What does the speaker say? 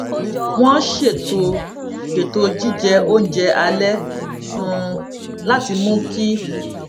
wọn ṣètò ṣètò jíjẹ oúnjẹ alẹ um láti mú kí